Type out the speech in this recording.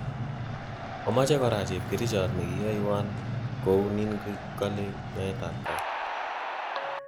Omoche kora chepkerichot nekiyoywan kouninkole nyoetapkat